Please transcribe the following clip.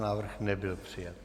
Návrh nebyl přijat.